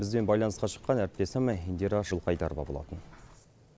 бізбен байланысқа шыққан әріптесім индира жылқайдарова болатын